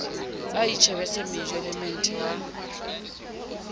a itjhebetse mejo lemmethe wa